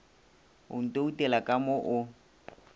o ntoutela ka mo o